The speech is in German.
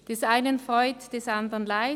Des einen Freud, des anderen Leid: